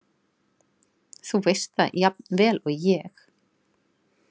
Þú veist það jafn vel og ég.